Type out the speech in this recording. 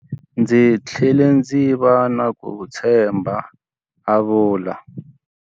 Ndzi tlhele ndzi va na ku titshemba, a vula.